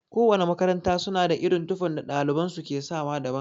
Kowana makaranta suna da irin tufan da ɗaliban su ke sawa daban.